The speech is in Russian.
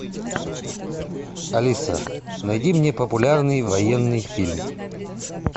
алиса найди мне популярный военный фильм